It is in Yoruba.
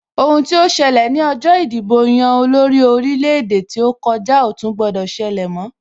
Ohun tí ó ṣẹlẹ̀ ní ọjọ ìdìbò-yan-olórí orílẹ̀-èdè tí ó kòjá ò tún gbọdọ̀ ṣẹlẹ mọ́,